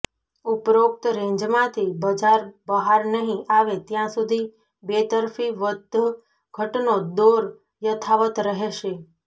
ઉપરોક્ત રેન્જમાંથી બજાર બહાર નહીં આવે ત્યાં સુધી બેતરફી વધઘટનો દોર યથાવત્ રહેશે